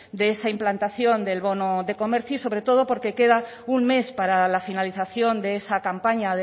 de esa implantación del bono de comercio y sobre todo porque queda un mes para la finalización de esa campaña